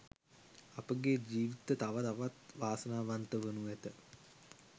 අපගේ ජීවිත තව තවත් වාසනාවන්ත වනු ඇත.